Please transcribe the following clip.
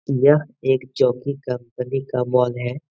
यह एक Jockey company का मॉल है।